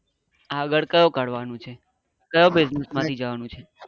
આગળ કયો કરવા નો છે કયો business માટે જવા નું છે?